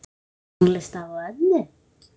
Tónlist afa og ömmu?